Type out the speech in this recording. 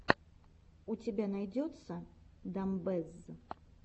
у тебя найдется дамбэзз